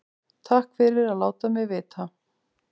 Takk fyrir að láta mig vita